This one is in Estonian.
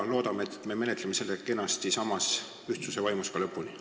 Loodame, et me menetleme selle kenasti samas ühtsuse vaimus lõpuni.